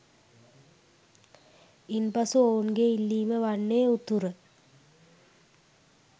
ඉන්පසු ඔවුන්ගේ ඉල්ලීමවන්නේ උතුර